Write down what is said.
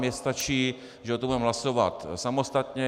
Mně stačí, když o tom budeme hlasovat samostatně.